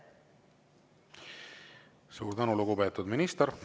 Suur tänu, lugupeetud minister!